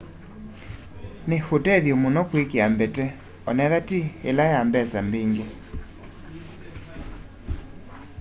ni utethyo muno kwikia mbete onethwa ti ila ya mbesa mbingi